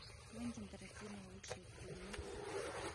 квентин тарантино лучшие фильмы